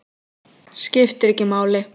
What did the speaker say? Skiptir ekki máli.